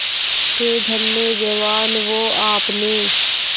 थे धन्य जवान वो आपने